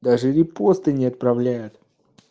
даже репосты не отправляет